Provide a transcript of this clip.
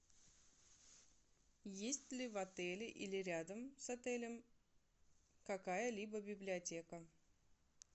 есть ли в отеле или рядом с отелем какая либо библиотека